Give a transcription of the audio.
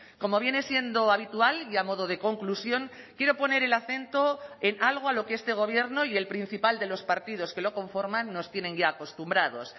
como viene siendo habitual y a modo de conclusión quiero poner el acento en algo a lo que este gobierno y el principal de los partidos que lo conforman nos tienen ya acostumbrados